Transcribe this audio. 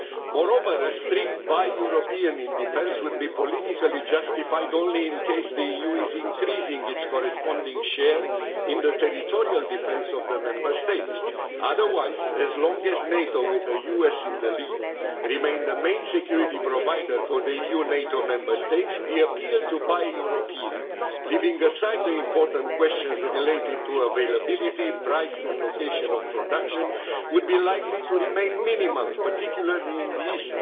Moreover, a strict buy European in defence would be politically justified only in the event that the EU increases its corresponding share in the territorial defence of the Member States. Otherwise, as long as NATO, with the US in the lead, remains the main security provider for the EU NATO Member States, the appeal to buy European, leaving aside the important questions relating to availability, price and location of production, would be likely to remain minimal, particularly in the east.